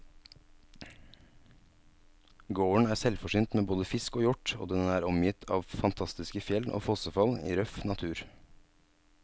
Gården er selvforsynt med både fisk og hjort, og den er omgitt av fantastiske fjell og fossefall i røff natur.